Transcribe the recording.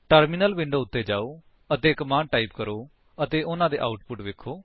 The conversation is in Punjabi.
ਟਰਮਿਨਲ ਵਿੰਡੋ ਉੱਤੇ ਜਾਓ ਅਤੇ ਕਮਾਂਡਸ ਟਾਈਪ ਕਰੋ ਅਤੇ ਉਨ੍ਹਾਂ ਦੇ ਆਉਟਪੁਟਸ ਵੇਖੋ